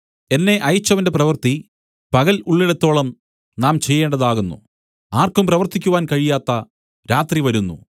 എന്നെ അയച്ചവന്റെ പ്രവൃത്തി പകൽ ഉള്ളിടത്തോളം നാം ചെയ്യേണ്ടതാകുന്നു ആർക്കും പ്രവർത്തിക്കുവാൻ കഴിയാത്ത രാത്രി വരുന്നു